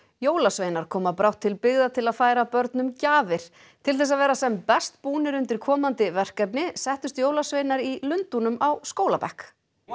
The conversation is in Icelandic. jólasveinar koma brátt til byggða til að færa börnum gjafir til þess að vera sem best búnir undir komandi verkefni settust jólasveinar í Lundúnum á skólabekk